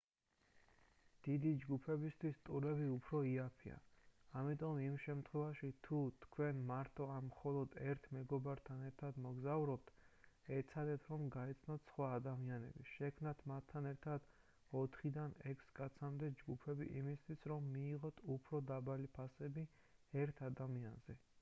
დიდი ჯგუფებისთვის ტურები უფრო იაფია ამიტომ იმ შემთხვევაში თუ თქვენ მარტო ან მხოლოდ ერთ მეგობართან ერთად მოგზაურობთ ეცადეთ რომ გაიცნოთ სხვა ადამიანები შექმნათ მათთან ერთად ოთხიდან ექვს კაცამდე ჯგუფები იმისათვის რომ მიიღოთ უფრო დაბალი ფასები ერთ ადამიანზე